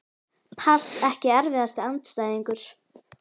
pass Ekki erfiðasti andstæðingur?